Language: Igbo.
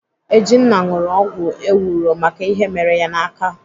Ejinna ṅụrụ ọgwụ ewuro maka ihe mere ya n'aka.